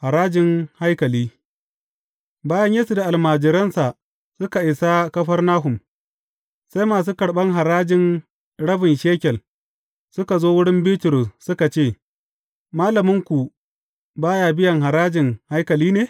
Harajin haikali Bayan Yesu da almajiransa suka isa Kafarnahum, sai masu karɓan harajin rabin shekel suka zo wurin Bitrus suka ce, Malaminku ba ya biyan harajin haikali ne?